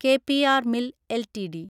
K P R mill LTD